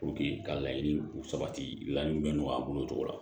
ka laɲini sabati laɲini bɛ nɔgɔya a bolo cogo la